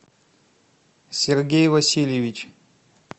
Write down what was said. сергей васильевич